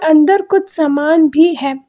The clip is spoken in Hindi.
अंदर कुछ सामान भी है।